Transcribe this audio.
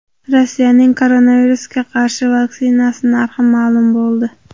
Rossiyaning koronavirusga qarshi vaksinasi narxi ma’lum bo‘ldi.